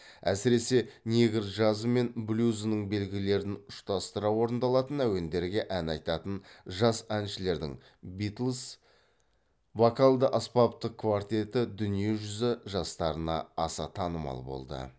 әсіресе негр джазы мен блюзінің белгілерін ұштастыра орындалатын әуендерге ән айтатын жас әншілердің битлз вокалды аспаптық квартеті дүние жүзі жастарына аса танымал болды